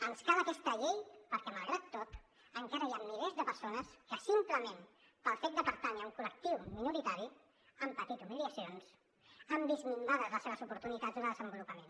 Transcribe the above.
ens cal aquesta llei perquè malgrat tot encara hi ha milers de persones que simplement pel fet de pertànyer a un col·lectiu minoritari han patit humiliacions han vist minvades les seves oportunitats de desenvolupament